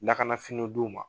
Lakana finiw di u ma.